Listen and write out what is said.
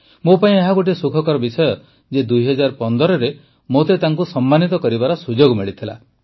ମୋ ପାଇଁ ଏହା ଗୋଟିଏ ସୁଖକର ବିଷୟ ଯେ ୨୦୧୫ରେ ମୋତେ ତାଙ୍କୁ ସମ୍ମାନିତ କରିବାର ସୁଯୋଗ ମିଳିଥିଲା